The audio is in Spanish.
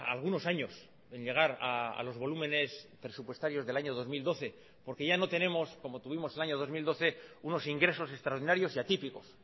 algunos años en llegar a los volúmenes presupuestarios del año dos mil doce porque ya no tenemos como tuvimos el año dos mil doce unos ingresos extraordinarios y atípicos